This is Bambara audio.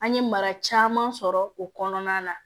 An ye mara caman sɔrɔ o kɔnɔna na